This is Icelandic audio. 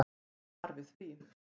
Svar við því.